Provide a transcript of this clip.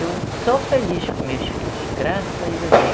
Eu sou feliz com meus filhos, graças a